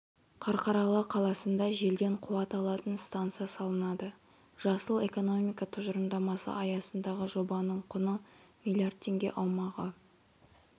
қарқаралы қаласында желден қуат алатын станция салынады жасыл экономика тұжырымдамасы аясындағы жобаның құны млрд теңге аумағы